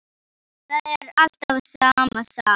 Það er alltaf sama sagan.